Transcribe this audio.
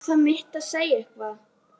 Er það mitt að segja eitthvað?